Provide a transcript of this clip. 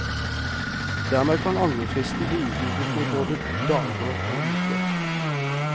Dermed kan angrefristen bli utvidet med både dager og uker.